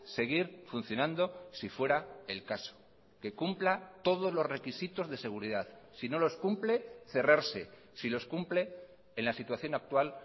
seguir funcionando si fuera el caso que cumpla todos los requisitos de seguridad si no los cumple cerrarse si los cumple en la situación actual